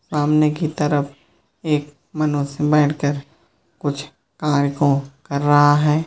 सामने की तरफ एक मनुष्य बैठ कर कुछ कार्य को कर रहा है।